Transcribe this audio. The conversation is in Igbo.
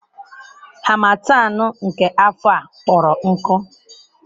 Harmattan nke afọ a kpọrọ nkụ.